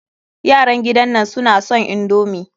Yaran gidan nan suna son indomi.